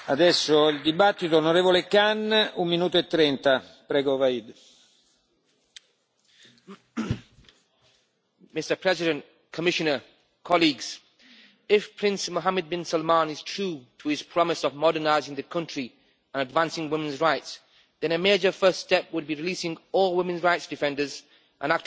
Mr President, Commissioner, colleagues, if Prince Mohammed bin Salman is true to his promise of modernising the country and advancing women's rights, then a major first step would be releasing all women's rights defenders and activists who have been arrested and imprisoned in the recent crackdown.